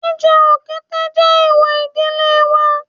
Jíjẹ òkété jẹ́ èwò ìdílé wa